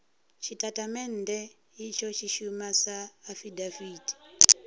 tshitatamennde itsho tshi shuma sa afidaviti